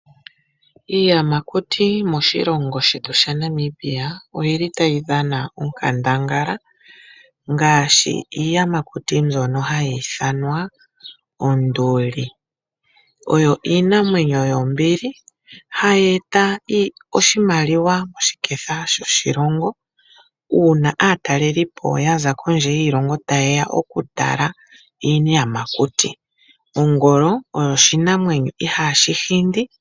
Iiyamakuti moshilongo shetu shaNamibia oyili tayi dhana onkandangala ngaashi iiyamakuti mbyono hayi ithanwa onduli. Oyo iinamwenyo yombili hayi eta oshimaliwa moshiketha shoshilongo uuna aataleli po yaza kondje yiilongo taye ya oku tala iiyamakuti. Ongolo oyo oshinamwenyo ihaashi hindi.